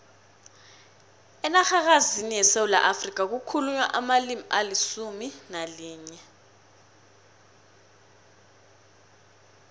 enarhakazini yesewula afrika kukhulunywa amalimi alisumu nalinye